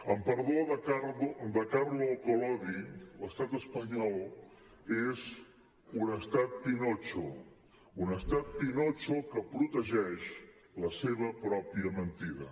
amb perdó de carlo collodi l’estat espanyol és un estat pinotxo un estat pinotxo que protegeix la seva pròpia mentida